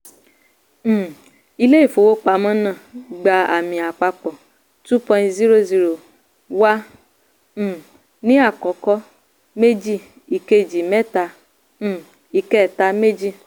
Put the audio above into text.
um ilé-ìfowópamọ́ náà gba àmì àpapọ̀ two point zero zero wà um ní àkọ́kọ́ méjì ìkejì mẹ́ta um ìkẹta méjì.